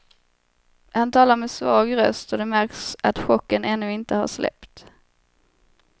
Han talar med svag röst och det märks att chocken ännu inte har släppt.